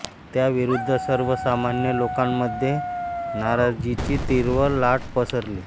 त्या विरुद्ध सर्वसामान्य लोकांमध्ये नाराजीची तीव्र लाट पसरली